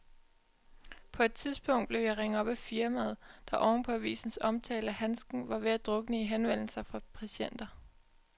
På et tidspunkt blev jeg ringet op af firmaet, der oven på avisens omtale af handsken var ved at drukne i henvendelser fra patienter.